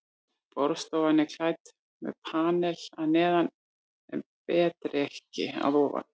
Borðstofan er klædd með panel að neðan en betrekki að ofan.